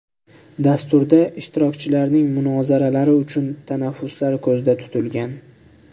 Dasturda ishtirokchilarning munozaralari uchun tanaffuslar ko‘zda tutilgan.